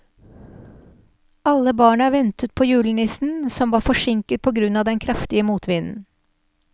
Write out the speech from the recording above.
Alle barna ventet på julenissen, som var forsinket på grunn av den kraftige motvinden.